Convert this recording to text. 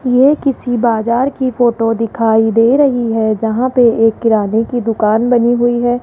ये किसी बाजार की फोटो दिखाई दे रही है जहां पे एक किराने की दुकान बनी हुई है।